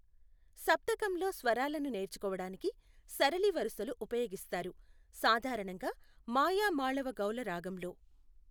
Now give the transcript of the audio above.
సప్తకంలో స్వరాలను నేర్చుకోవడానికి సరళి వరసలు ఉపయోగిస్తారు, సాధారణంగా మాయామాళవగౌళ రాగంలో.